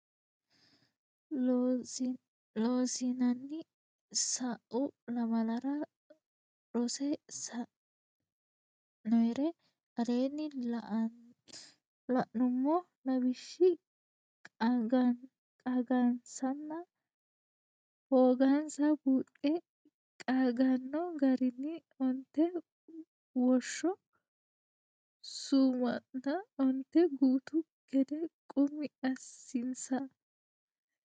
Loossinanni sa u lamalara rosse sa inore aleenni la nummo lawishshi qaagansanna hoogansa buuxxe qaagganno garinni onte woshsho su manna onte gutu gede qummi assinsa.